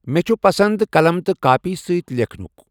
مےٚ چُھ پسنٛد قلم تہٕ کٲپی سۭتۍ لیکھنُک۔